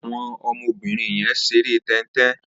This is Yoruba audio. Awọn ọmọ óbìrín yèn ṣéré tẹntẹn